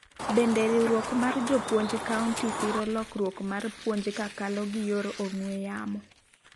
bende riwruok mar jopuonj county siro lokruok mar puonj kakalo gi yor ong'we yamo